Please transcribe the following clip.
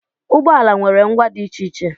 Ụgbọ ala nwere ngwa dị iche iche